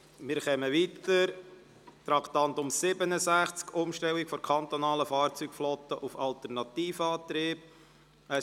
Wir kommen zum Traktandum 67, der Motion «Umstellung der kantonalen Fahrzeugflotte auf Alternativantriebe».